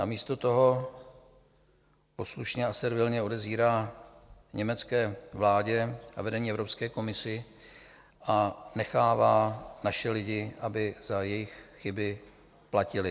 Namísto toho poslušně a servilně odezírá německé vládě a vedení Evropské komise a nechává naše lidi, aby za jejich chyby platili.